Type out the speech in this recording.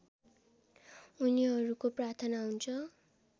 उनीहरूको प्रार्थना हुन्छ